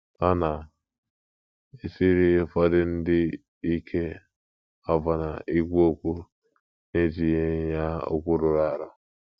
Ọ na - esiri ụfọdụ ndị ike ọbụna ikwu okwu n’etinyeghị ya okwu rụrụ arụ.